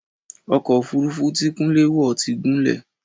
Ọkọ̀ òfurufú tí Kúnlé wọ̀ ti gúnlẹ̀.